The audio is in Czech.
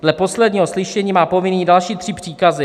Z posledního slyšení má povinný další tři příkazy.